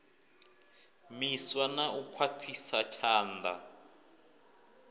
miswa na u khwaṱhisa tshanḓa